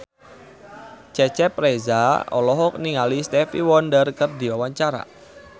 Cecep Reza olohok ningali Stevie Wonder keur diwawancara